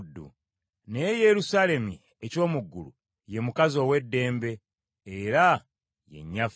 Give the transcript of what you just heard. Naye Yerusaalemi eky’omu ggulu ye mukazi ow’eddembe, era ye nnyaffe.